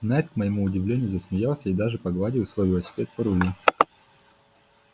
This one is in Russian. найд к моему удивлению засмеялся и даже погладил свой велосипед по рулю